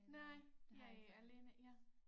Nej jeg alene ja